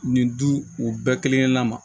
Nin du u bɛɛ kelen kelenna ma